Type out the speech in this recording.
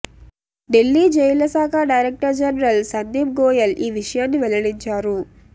ఢిల్లీ జైళ్ల శాఖ director general Sandeep Goyal ఈ విషయాన్ని వెల్లడించారు